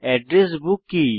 address book কি